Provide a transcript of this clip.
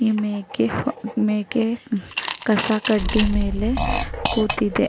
ಈ ಮೇಕೆ ಮೇಕೆ ಕಸ ಕಡ್ಡಿ ಮೇಲೆ ಕೂತಿದೆ .